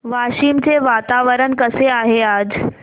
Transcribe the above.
वाशिम चे वातावरण कसे आहे आज